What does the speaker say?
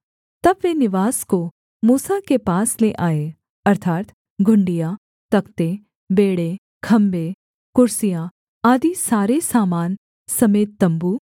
तब वे निवास को मूसा के पास ले आए अर्थात् घुंडियाँ तख्ते बेंड़े खम्भे कुर्सियाँ आदि सारे सामान समेत तम्बू